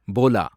போலா